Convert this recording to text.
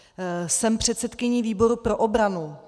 Jsem předsedkyní výboru pro obranu.